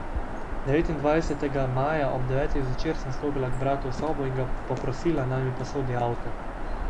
Devetindvajsetega maja ob devetih zvečer sem stopila k bratu v sobo in ga poprosila, naj mi posodi avto.